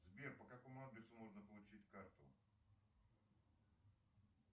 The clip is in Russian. сбер по какому адресу можно получить карту